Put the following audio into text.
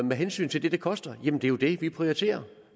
med hensyn til det det koster er det jo det vi prioriterer